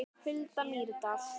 Hulda Mýrdal.